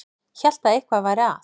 Hélt að eitthvað væri að.